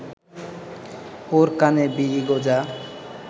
ওর কানে বিড়ি গোজা